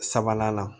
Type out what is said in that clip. Sabanan la